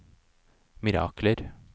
mirakler